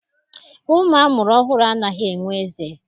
Ụmụ a mụrụ ọhụrụ anaghị enwe eze.